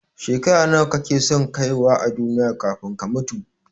Shekara nawa kake son kaiwa a duniya kafin ka mutu?